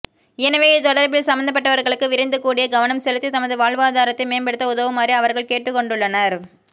எனவே இது தொடர்பில் சமந்தபட்டவர்களுக்கு விரைந்து கூடிய கவனம் செலுத்தி தமது வாழ்வாதாரத்தை மேம்படுத்த உதவுமாறு அவர்கள் கேட்டுக்கொண்டுள்ளனர்